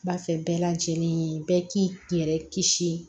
N b'a fɛ bɛɛ lajɛlen bɛɛ k'i yɛrɛ kisi